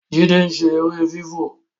Jide ń ṣe èrè fifọ